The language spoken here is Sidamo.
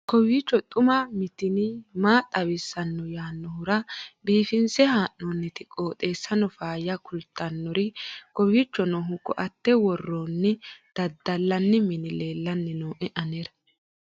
kowiicho xuma mtini maa xawissanno yaannohura biifinse haa'noonniti qooxeessano faayya kultannori kowiicho noohu koate worroonnihu dadallanni mini leellanni noo anera